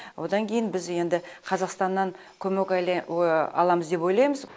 одан кейін біз енді қазақстаннан көмек аламыз деп ойлаймыз